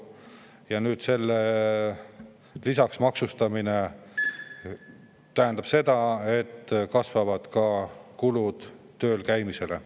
Ja nüüd selle lisaks maksustamine tähendab seda, et kasvavad kulud tööl käimisele.